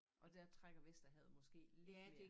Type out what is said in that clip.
Og der trækker Vesterhavet måske lidt mere